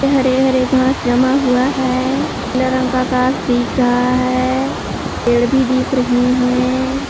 हरे हरे घास जमा हुआ है रंग का आकाश दिख रहा है पेड़ भी दिख रहे हैं।